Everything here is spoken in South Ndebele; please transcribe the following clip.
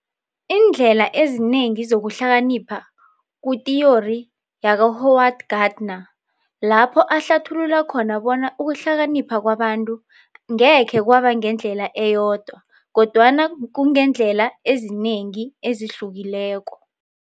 Iindlela ezinengi zokuhlakanipha kuyithiyori ka-Howard Gardner lapho ahlathulula khona bona ukuhlanipha kwabantu ngekhe kwaba ngendlela eyodwa kodwana kungendlela ezinengi ezihlukileko.